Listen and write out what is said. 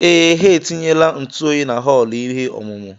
Ee, ha etinyela ntụ oyi na họọlụ ihe ọmụmụ.